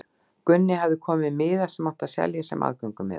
Gunni hafði komið með miða sem átti að selja sem aðgöngumiða.